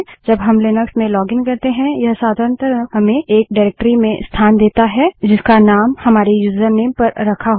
जब हम लिनक्स में लोगिन करते हैं यह साधारणतः हमें एक निर्देशिकाडाइरेक्टरी में स्थान देता है जिसका नाम हमारे यूजरनेम पर रखा होता है